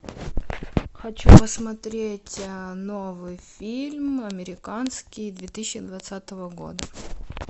хочу посмотреть новый фильм американский две тысячи двадцатого года